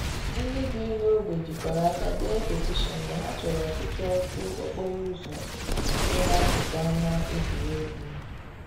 Ndị bi n'ogbe jikọrọ aka dee petishion na ha chọrọ ọtụtụ ọkụ okporo ụzọ dị n'akụkụ ama egwuregwu.